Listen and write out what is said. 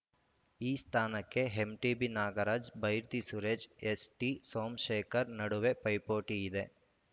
ಈ ಸ್ಥಾನಕ್ಕೆ ಎಂಟಿಬಿ ನಾಗರಾಜ್‌ ಬೈರತಿ ಸುರೇಶ್‌ ಎಸ್‌ಟಿಸೋಮಶೇಖರ್‌ ನಡುವೆ ಪೈಪೋಟಿಯಿದೆ